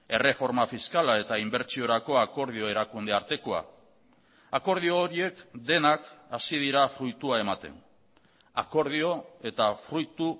erreforma fiskala eta inbertsiorako akordio erakunde artekoa akordio horiek denak hasi dira fruitua ematen akordio eta fruitu